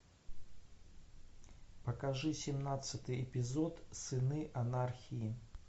покажи семнадцатый эпизод сыны анархии